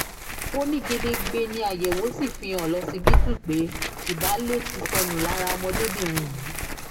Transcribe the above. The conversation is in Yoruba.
ó ní gedegbe ni àyẹ̀wò sì fi hàn lọ́sibítù pé ìbàlẹ̀ ti sọnù lára ọmọdébìnrin yìí